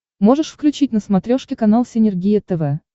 можешь включить на смотрешке канал синергия тв